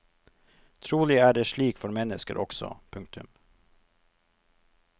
Trolig er det slik for mennesker også. punktum